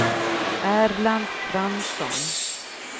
Erland Fransson